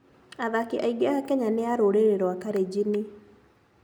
Athaki aingĩ a Kenya nĩ a rũrĩrĩ rwa Kalenjin.